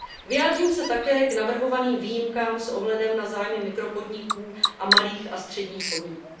Vyjádřím se také k navrhovaným výjimkám s ohledem na zájmy mikropodniků a malých a středních podniků.